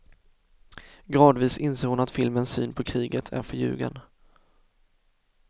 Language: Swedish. Gradvis inser hon att filmens syn på kriget är förljugen.